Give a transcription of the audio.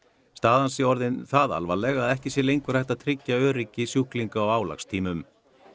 staðan sé orðin það alvarleg að ekki sé lengur hægt að tryggja öryggi sjúklinga á álagstímum